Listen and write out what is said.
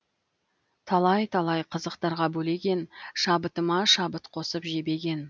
талай талай қызықтарға бөлеген шабытыма шабыт қосып жебеген